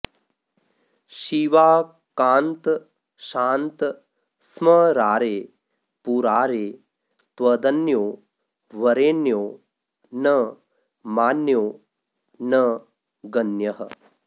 शिवाकान्त शान्त स्मरारे पुरारे त्वदन्यो वरेण्यो न मान्यो न गण्यः